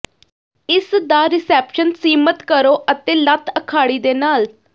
ਇਸਦਾ ਰਿਸੈਪਸ਼ਨ ਸੀਮਤ ਕਰੋ ਅਤੇ ਲੱਤ ਅਖਾੜੀ ਦੇ ਨਾਲ